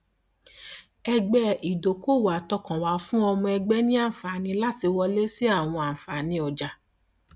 ẹgbẹ ìdókòòwò àtọkànwá fún ọmọ ẹgbẹ ní àǹfààní láti wọlé sí àwọn àǹfààní ọjà